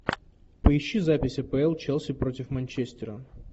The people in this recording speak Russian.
поищи запись апл челси против манчестера